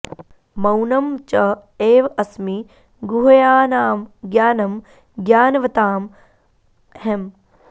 मौनम् च एव अस्मि गुह्यानाम् ज्ञानम् ज्ञानवताम् अहम्